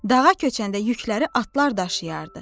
Dağa köçəndə yükləri atlar daşıyardı.